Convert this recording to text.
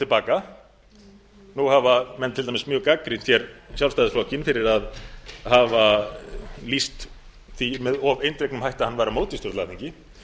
baka nú hafa menn til dæmis gagnrýnt hér sjálfstæðisflokkinn fyrir að hafa lýst því með of eindregnum hætti að hann væri á móti stjórnlagaþingi